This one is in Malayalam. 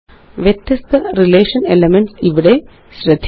വ്യത്യസ്തrelation എലിമെന്റ്സ് ഇവിടെ ശ്രദ്ധിക്കുക